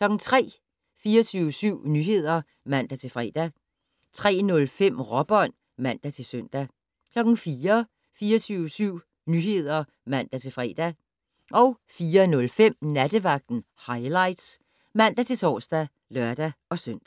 03:00: 24syv Nyheder (man-fre) 03:05: Råbånd (man-søn) 04:00: 24syv Nyheder (man-fre) 04:05: Nattevagten Highlights (man-tor og lør-søn)